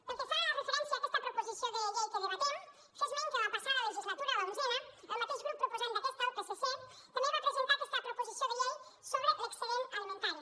pel que fa referència a aquesta proposició de llei que debatem fer esment que en la passada legislatura l’onzena el mateix grup proposant d’aquesta el psc també va presentar aquesta proposició de llei sobre l’excedent alimentari